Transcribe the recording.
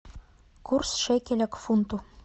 курс шекеля к фунту